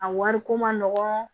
A wari ko ma nɔgɔn